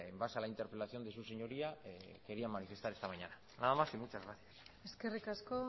base a la interpelación de su señoría quería manifestar esta mañana nada más y muchas gracias eskerrik asko